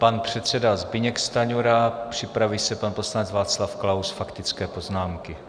Pan předseda Zbyněk Stanjura, připraví se pan poslanec Václav Klaus - faktické poznámky.